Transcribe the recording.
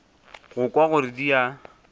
go kwa gore di a